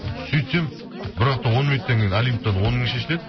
сөйтсем бір уақытта он минуттан кейін олимптан он мың шешіледі